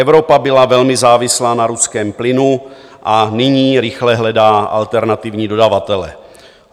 Evropa byla velmi závislá na ruském plynu a nyní rychle hledá alternativní dodavatele.